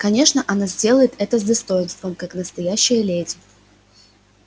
конечно она сделает это с достоинством как настоящая леди